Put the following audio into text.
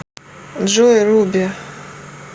джой руби